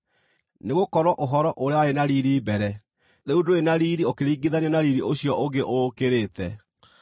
Nĩgũkorwo ũhoro ũrĩa warĩ na riiri mbere, rĩu ndũrĩ na riiri ũkĩringithanio na riiri ũcio ũngĩ ũũkĩrĩte.